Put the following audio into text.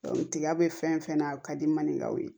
tiga be fɛn fɛn na a ka di maninkaw ye